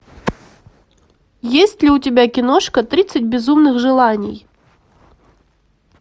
есть ли у тебя киношка тридцать безумных желаний